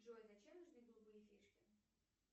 джой зачем нужны голубые фишки